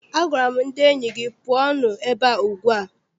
Agwara m ndị enyi gị, pụọnụ ebea ugbu a!